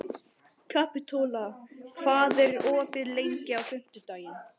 Kapitola, hvað er opið lengi á fimmtudaginn?